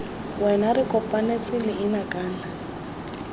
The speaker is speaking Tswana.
wena re kopanetse leina kana